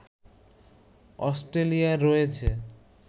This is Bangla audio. অস্ট্রেলিয়ার রয়েছে